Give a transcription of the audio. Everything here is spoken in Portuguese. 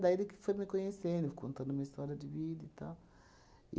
Daí ele que foi me conhecendo, contando uma história de vida e tal.